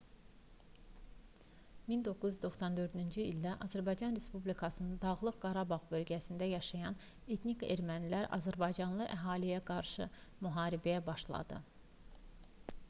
1994-cü ildə azərbaycan respublikasının dağlıq qarabağ bölgəsində yaşayan etnik ermənilər azərbaycanlı əhaliyə qarşı müharibəyə başladı